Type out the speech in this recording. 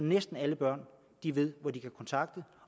næsten alle børn ved hvor de kan kontakte